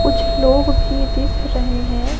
कुछ लोग भी दिख रहे हैं।